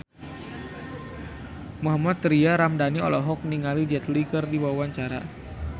Mohammad Tria Ramadhani olohok ningali Jet Li keur diwawancara